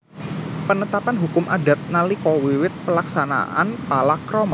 Penetapan hukum Adat nalika wiwit Pelaksanaan Palakrama